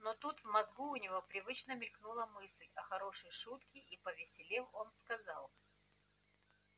но тут в мозгу у него привычно мелькнула мысль о хорошей шутке и повеселев он сказал